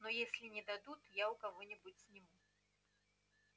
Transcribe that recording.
но если не дадут я у кого нибудь сниму